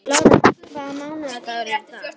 Lára, hvaða mánaðardagur er í dag?